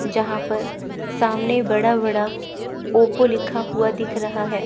जहां पर सामने बड़ा बड़ा ओप्पो लिखा हुआ दिख रहा है।